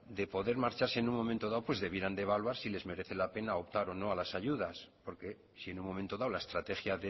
de poder marcharse en un momento dado pues debieran de evaluar si les merece la pena optar o no a lasayudas porque si en un momento dado la estrategia